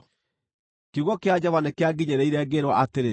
Kiugo kĩa Jehova nĩkĩanginyĩrĩire, ngĩĩrwo atĩrĩ,